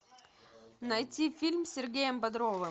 найти фильм с сергеем бодровым